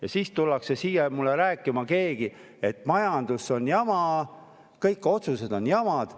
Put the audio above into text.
Ja siis tullakse siia rääkima, et majandusega on jama, kõik otsused on jamad.